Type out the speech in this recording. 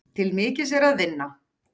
Til mikils er að vinna.